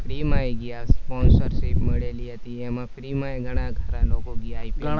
free મા એ આઈ ગયા sponsorship મળેલી હતી. એમાય free મા ઘણા ખરા લોકો VIP લોકો